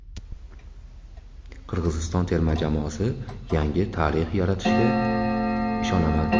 Qirg‘iziston terma jamoasi yangi tarix yaratishiga ishonaman.